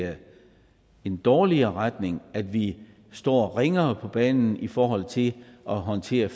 en dårligere retning at vi står ringere på banen i forhold til at håndtere